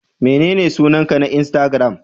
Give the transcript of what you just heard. Menene sunanka na insatigiram?